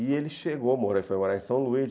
E ele chegou a morar em São Luís.